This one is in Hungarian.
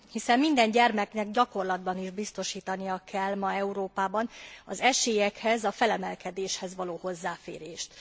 Hiszen minden gyermeknek gyakorlatban is biztosítania kell ma Európában az esélyekhez, a felemelkedéshez való hozzáférést.